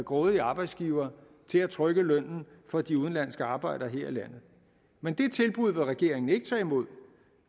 grådige arbejdsgivere til at trykke lønnen for de udenlandske arbejdere her i landet men det tilbud vil regeringen ikke tage imod